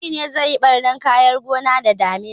Biri ne zai yi ɓarnan kayan gona da damina